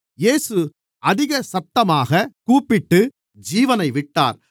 இயேசு அதிக சத்தமாகக் கூப்பிட்டு ஜீவனை விட்டார்